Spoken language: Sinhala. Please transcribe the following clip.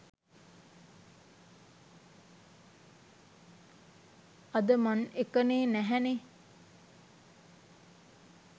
අද මන් එකනේ නැහැ නේ